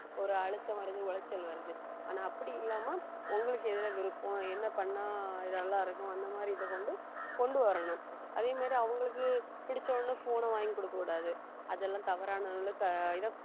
ஒரு அழுத்தம் வருது உளைச்சல் வருது ஆனா அப்படி இல்லாம உங்களுக்கு எதுல விருப்பம் என்ன பண்ணா நல்லா இருக்கும் அந்த மாதிரி இதை கொண்டு கொண்டு வரணும் அதே மாதிரி அவங்களுக்கு பிடிச்ச உடனே phone ன வாங்கி கொடுக்கக் கூடாது அதெல்லாம் தவறான உள்ள த~ இத